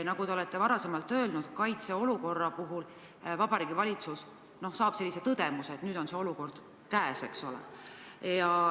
Nagu te enne ütlesite, jõuab kaitseolukorra puhul Vabariigi Valitsuseni tõdemus, et nüüd on see olukord käes, eks ole.